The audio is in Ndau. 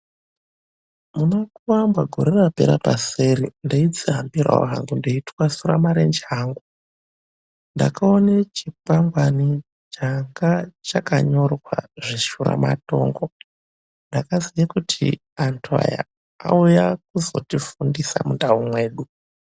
MunaKuamba gore rapera paseri ndaidzihambirawo hangu ndei twasura mirenje angu. Ndakaone chikwangwani changa chakanyorwa nezveshuramatongo ndikaziye kuti antu aya auya kuzotifundisa mundau mwedu.